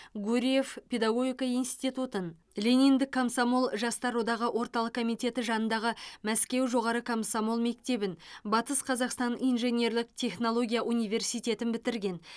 гурьев педагогика институтын лениндік комсомол жастар одағы орталық комитеті жанындағы мәскеу жоғары комсомол мектебін батыс қазақстан инженерлік технология университетін бітірген